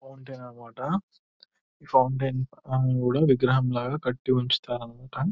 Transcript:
Fountain అన్న మాట ఈ ఫౌంటెన్ అని కూడా విగ్రహంలాగా కట్టి ఉంచుతారన్నమాట.